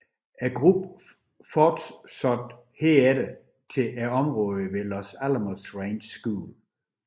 Gruppen fortsatte herfter til området ved Los Alamos Ranch School